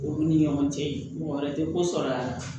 Olu ni ɲɔgɔn cɛ mɔgɔ wɛrɛ te ko sɔrɔ a la